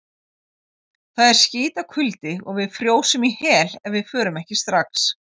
Það er skítakuldi og við frjósum í hel ef við förum ekki strax.